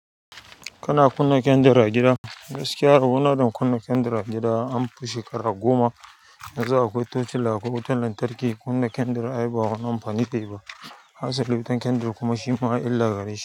Kana kunna kyandir a gida? Gaskiya rabo na da kunna kyandir a gida an fi shekaru goma, yanzu akwai tochila, akwai wutar lantarki. Kunna kyandir ai ba wani amfani zai yi ba. Hasali ma wutar kyandir kuma shi ma illa gare shi.